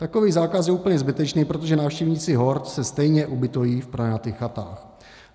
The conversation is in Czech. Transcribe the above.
Takový zákaz je úplně zbytečný, protože návštěvníci hor se stejně ubytují v pronajatých chatách.